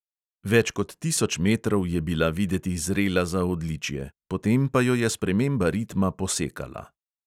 Več kot tisoč metrov je bila videti zrela za odličje, potem pa jo je sprememba ritma "posekala".